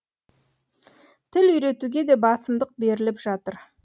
тіл үйретуге де басымдық беріліп жатыр